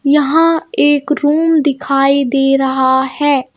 यहाँ एक रूम दिखाई दे रहा है.